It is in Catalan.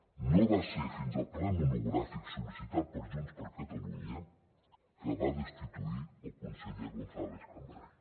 no va ser fins al ple monogràfic sol·licitat per junts per catalunya que va destituir el conseller gonzàlez cambray